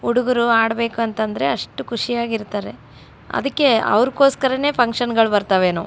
ಹುಡುಗೂರು ಆಡ್ಬೇಕಂತಂದ್ರೆ ಅಷ್ಟು ಖುಷಿಯಾಗಿ ಇರ್ತಾರೆ ಅದಕ್ಕೆ ಔರ್ಕೊಸ್ಕರಾನೆ ಫುನ್ಕ್ಷನ್ಸ್